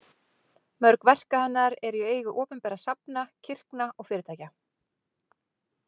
Mörg verka hennar eru í eigu opinberra safna, kirkna og fyrirtækja.